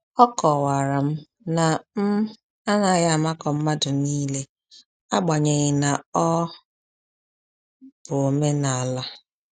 A kọwara m na m anaghị amakọ mmadụ niile, agbanyeghi na-ọ bụ omenala